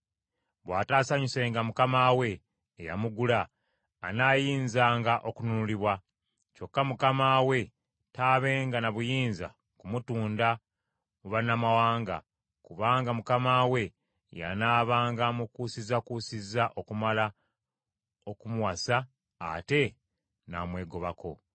Bw’ataasanyusenga mukama we eyamugula, anaayinzanga okununulibwa. Kyokka mukama we taabenga na buyinza kumutunda mu bannamawanga, kubanga mukama we yanaabanga amukuusizakuusiza okumala okumuwasa ate n’amwegobako.